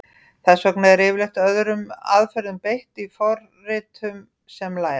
Þess vegna er yfirleitt öðrum aðferðum beitt í forritum sem læra.